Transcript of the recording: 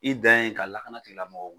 I dan ye ka lakana tigilamɔgɔw